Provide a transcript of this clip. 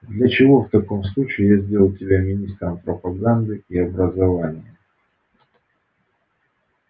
для чего в таком случае я сделал тебя министром пропаганды и образования